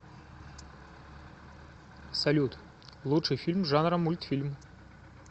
салют лучший фильм жанра мультфильм